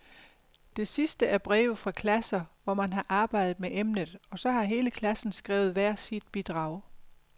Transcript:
Det sidste er breve fra klasser, hvor man har arbejdet med emnet, og så har hele klassen skrevet hvert sit bidrag.